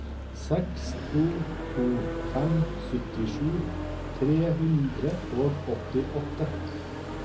seks to to fem syttisju tre hundre og åttiåtte